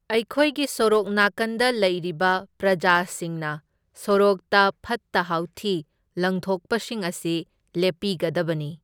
ꯑꯩꯈꯣꯏꯒꯤ ꯁꯣꯔꯣꯛ ꯅꯥꯀꯟꯗ ꯂꯩꯔꯤꯕ ꯄ꯭ꯔꯖꯥꯁꯤꯡꯅ ꯁꯣꯔꯣꯛꯇ ꯐꯠꯇ ꯍꯥꯎꯊꯤ ꯂꯪꯊꯣꯛꯄꯁꯤꯡ ꯑꯁꯤ ꯂꯦꯞꯄꯤꯒꯗꯕꯅꯤ꯫